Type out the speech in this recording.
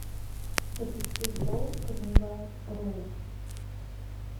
запусти шоу карнивал роу